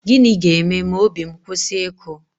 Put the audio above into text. Gịnị ga-eme ma obi m kwụsị ịkụ?